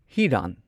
ꯍꯤꯔꯥꯟ